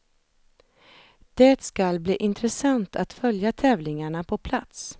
Det skall bli intressant att följa tävlingarna på plats.